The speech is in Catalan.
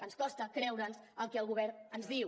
ens costa creure’ns el que el govern ens diu